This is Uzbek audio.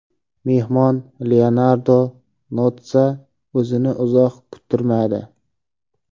Mehmon Leonardo Notssa o‘zini uzoq kuttirmadi.